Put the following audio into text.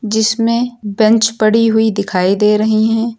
जिसमें बेंच पड़ी हुई दिखाई दे रही हैं।